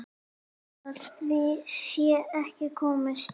Hjá því sé ekki komist.